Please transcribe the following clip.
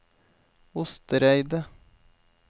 Ostereidet